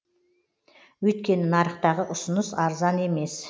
өйткені нарықтағы ұсыныс арзан емес